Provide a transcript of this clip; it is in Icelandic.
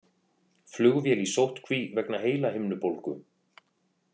Flugvél í sóttkví vegna heilahimnubólgu